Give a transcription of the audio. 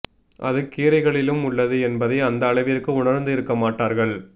அது கீரைகளிலும் உள்ளது என்பதை அந்த அளவிற்கு உணர்ந்து இருக்க மாட்டார்கள்